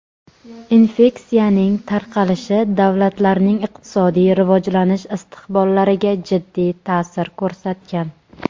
infeksiyaning tarqalishi davlatlarning iqtisodiy rivojlanish istiqbollariga jiddiy ta’sir ko‘rsatgan.